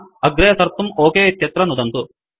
अग्रे सर्तुं ओक इत्यत्र नुदन्तु